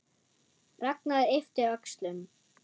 Ragnar yppti öxlum.